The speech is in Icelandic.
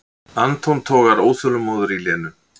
Anton togar óþolinmóður í Lenu.